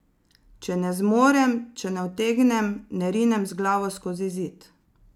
Če ne zmorem, če ne utegnem, ne rinem z glavo skozi zid.